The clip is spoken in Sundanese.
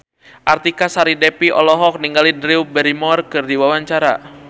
Artika Sari Devi olohok ningali Drew Barrymore keur diwawancara